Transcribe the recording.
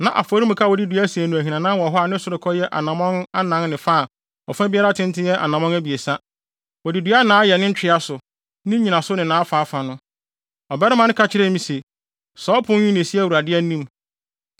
Na afɔremuka a wɔde dua asen no ahinanan wɔ hɔ a ne sorokɔ yɛ anammɔn anan ne fa a ɔfa biara tenten yɛ anammɔn abiɛsa; wɔde dua na na ayɛ ne ntwea so, ne nnyinaso ne nʼafaafa no. Ɔbarima no ka kyerɛɛ me se, “Saa ɔpon yi na esi Awurade anim.”